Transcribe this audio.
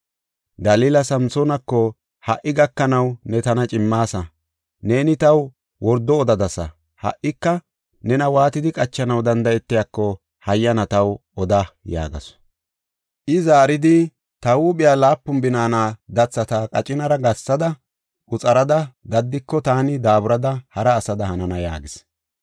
Dalila Samsoonako, “Ha77i gakanaw ne tana cimmaasa; neeni taw wordo odadasa. Ha77ika nena waatidi qachanaw danda7etiyako hayyana taw oda” yaagasu. I zaaridi, “Ta huuphiya laapun binaana dathata qacinara gathada, quxarada daddiko, taani daaburada hara asada hanana” yaagis.